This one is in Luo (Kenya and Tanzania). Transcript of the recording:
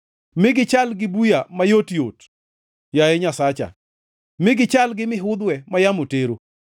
Mi gichal gi buya mayot-yot, yaye Nyasacha, mi gichal gi mihudhwe ma yamo tero.